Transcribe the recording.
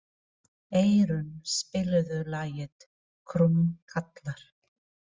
Eron, spilaðu lagið „Krómkallar“.